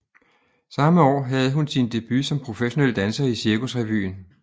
Samme år havde hun sin debut som professionel danser i Cirkusrevyen